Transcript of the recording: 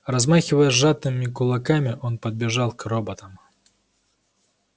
размахивая сжатыми кулаками он подбежал к роботам